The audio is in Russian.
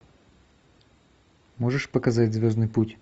можешь показать звездный путь